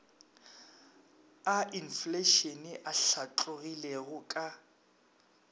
a infleišene a hlatlogilego ka